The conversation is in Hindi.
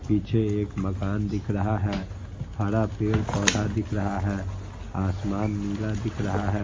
पीछे एक मकान दिख रहा है हरा पेड़ पौधा दिख रहा है आसमान नीला दिख रहा है।